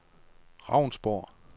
Ravnsborg